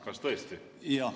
Kas tõesti?